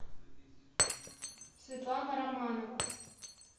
светлана романова